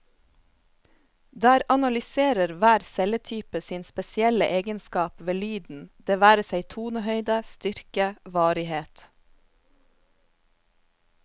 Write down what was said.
Der analyserer hver celletype sin spesielle egenskap ved lyden, det være seg tonehøyde, styrke, varighet.